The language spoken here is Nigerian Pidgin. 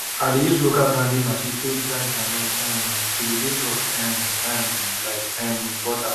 i de use local grinding machine take grind groundnut um till e de soft um um like um butter